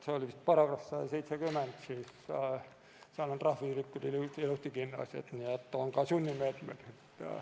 See oli vist § 170, seal on trahviühikud ilusasti kirjas, nii et on ka sunnimeetmed.